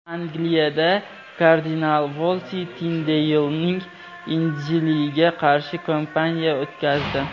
Angliyada kardinal Volsi Tindeylning Injiliga qarshi kampaniya o‘tkazdi.